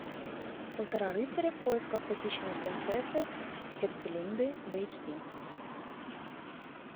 полтора рыцаря в поисках похищенной принцессы херцелинды в эйч ди